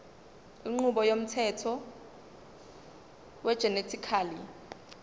inqubo yomthetho wegenetically